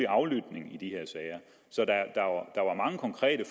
aflytning i de her sager så der var mange konkrete